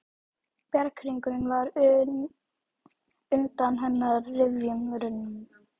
Bjarghringurinn var undan hennar rifjum runninn.